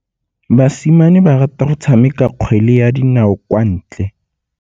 Basimane ba rata go tshameka kgwele ya dinaô kwa ntle.